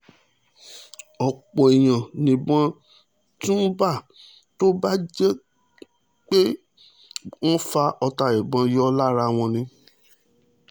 ọ̀pọ̀ èèyàn níbọn tún bá tó bá tó jẹ́ pé wọ́n ń fa ọta ìbọn yọ lára wọn ni